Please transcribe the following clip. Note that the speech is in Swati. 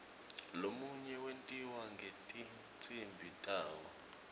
lomunye wentiwa ngetinsimbi tawo